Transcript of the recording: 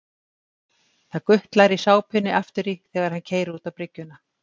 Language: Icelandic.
Það gutlar í sápunni aftur í þegar hann keyrir út á bryggjuna.